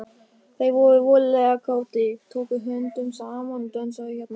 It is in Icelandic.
Þeir voru voðalega kátir, tóku höndum saman og dönsuðu hérna.